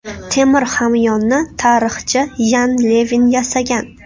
Temir hamyonni tarixchi Yan Levin yasagan.